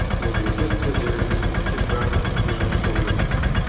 мемлекет те жергілікті билік барлығы бірге жұмыс істеу керек